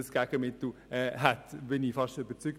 Davon bin ich überzeugt.